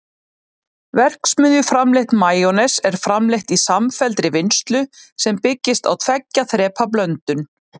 verksmiðjuframleitt majónes er framleitt í samfelldri vinnslu sem byggist á tveggja þrepa blöndun